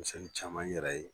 Siɲɛn caman n yɛrɛ ye.